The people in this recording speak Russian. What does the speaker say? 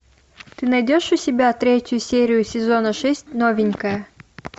ты найдешь у себя третью серию сезона шесть новенькая